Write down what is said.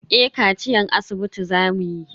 Eh kaciyan asibiti za mu yi.